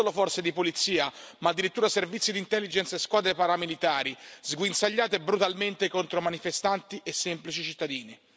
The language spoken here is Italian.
Non solo forze di polizia, ma addirittura servizi di intelligence e squadre paramilitari, sguinzagliate brutalmente contro manifestanti e semplici cittadini.